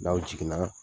N'aw jiginna